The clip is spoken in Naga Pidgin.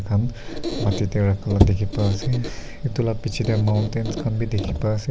am mateta alop dekhi pai ase etu laga biche teh mountain tu khan bhi dekhi pai ase.